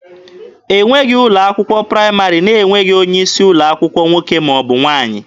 E nweghị ụlọ akwụkwọ praịmarị na-enweghị onye isi ụlọ akwụkwọ nwoke ma ọ bụ nwaanyị.